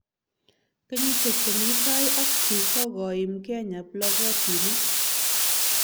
Kenyishek chemi tai ak chu kokokoim Kenya plokotinik